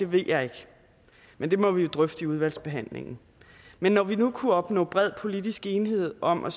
ved jeg ikke men det må vi jo drøfte i udvalgsbehandlingen men når vi nu kunne opnå bred politisk enighed om af